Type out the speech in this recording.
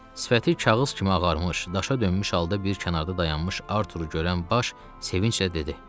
Sifəti kağız kimi ağarmış, daşa dönmüş halda bir kənarda dayanmış Arturu görən baş sevinclə dedi.